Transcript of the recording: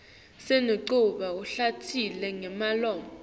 sinemculo lohlatjelelwa ngemlomo